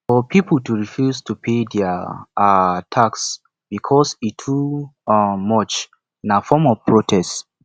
for pipo to refuse to pay their um tax because e too um much na form of protest